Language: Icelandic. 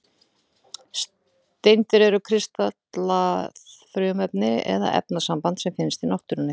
Steindir eru kristallað frumefni eða efnasamband sem finnst í náttúrunni.